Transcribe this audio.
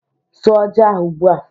Sụọ ji ahu ugbu a